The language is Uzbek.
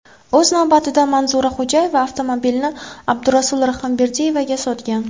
O‘z navbatida Manzura Xo‘jayeva avtomobilni Abdurasul Rahimberdiyevga sotgan.